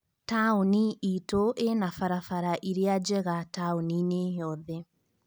Taũni itu ĩna barabara ĩrĩa njega taũni-inĩ yothe